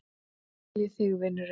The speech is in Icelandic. Hugga skal ég þig, vinurinn.